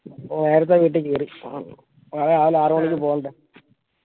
നേരത്തെ വീട്ടി കേറി നാളെ രാവിലെ ആറുമണിക്ക് പോണ്ടേ